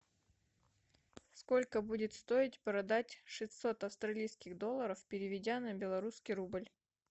сколько будет стоить продать шестьсот австралийских долларов переведя на белорусский рубль